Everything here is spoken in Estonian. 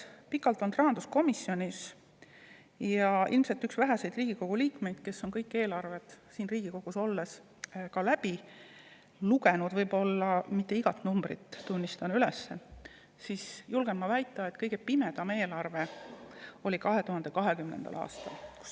Olen pikalt olnud rahanduskomisjonis ja ilmselt üks väheseid Riigikogu liikmeid, kes on kõik eelarved siin Riigikogus olles ka läbi lugenud – võib-olla mitte päris iga numbrit, tunnistan üles –, seega ma julgen väita, et kõige pimedam eelarve oli 2020. aastal.